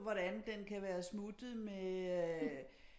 Hvordan den kan være smuttet med øh